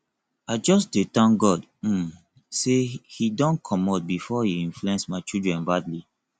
i just dey thank god um say he don comot before he influence my children badly